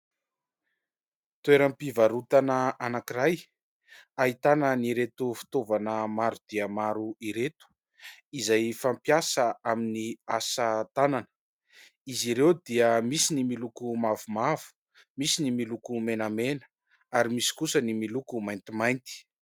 Toeram-pivarotana anankiray ahitana an'ireto fitaovana maro dia maro ireto izay fampiasa amin'ny asa tanana. Izy ireo dia misy miloko mavomavo, misy ny miloko menamena ary misy kosa ny miloko maintimainty.